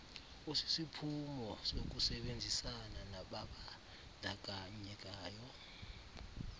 osisiphumo sokusebenzisana nababandakanyekayo